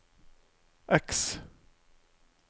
X